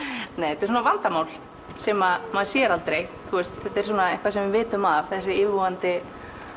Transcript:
þetta er vandamál sem maður sér aldrei þetta er eitthvað sem við vitum af þessi yfirvofandi